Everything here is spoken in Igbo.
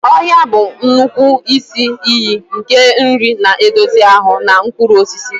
Ọhịa bụ nnukwu isi iyi nke nri na-edozi ahụ, na mkpụrụ osisi.